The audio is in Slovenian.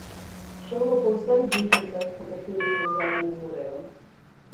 Šel bo po vseh bližnjicah, po katerih vozovi ne morejo.